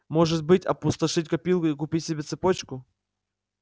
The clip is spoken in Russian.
может быть опустошить копилку и купить себе цепочку